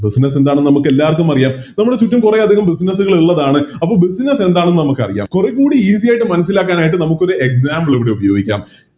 Business എന്താണെന്ന് നമുക്കെല്ലാവർക്കുമറിയാം ഇന്ന് ചുറ്റും കൊറേയധികം Business കൾ ഉള്ളതാണ് അത് Business എന്താണെന്ന് നമുക്കറിയാം കൊറേക്കൂടി Easy ആയിട്ട് മനസ്സിലാക്കാനായിട്ട് നമുക്കൊരു Example ഇവിടെ ഉപോയോഗിക്കാം